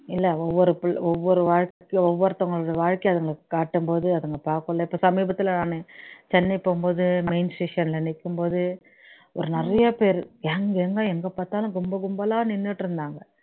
இல்ல ஒவ்வொரு பிள்ளை ஒவ்வொரு வாழ்க்கை ஒவ்வொருத்தங்களுடைய வாழ்க்கைய அதுங்களுக்கு காட்டும்போது அதுங்க பாக்கும் இல்ல இப்ப சமீபத்துல சென்னை போகும்போது main session ல நிக்கும்போது ஒரு நிறைய பேர் young young ஆ எங்க பாத்தாலும் கும்பல் கும்பலா நின்னுட்டு இருந்தாங்க